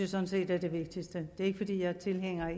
sådan set er det vigtigste det er ikke fordi jeg er tilhænger